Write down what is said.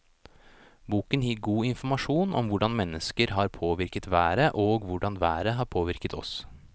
Boken gir god informasjon om hvordan mennesker har påvirket været og hvordan været har påvirket oss.